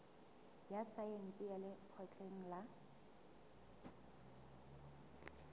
ya saense ya lekgotleng la